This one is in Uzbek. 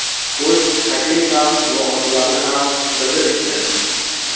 o‘z taklif va mulohazalarini ham bildirishdi.